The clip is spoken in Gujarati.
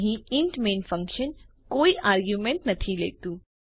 અહીં ઇન્ટ મેઇન ફંકશન કોઈ આરગ્યુંમેન્ટ નથી લેતું